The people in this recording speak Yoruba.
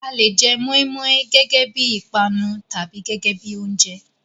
A le jẹ mọ́í-mọ́í gẹ́gẹ́ bí i ìpanu tàbí gẹ́gẹ́ bí i oúnjẹ.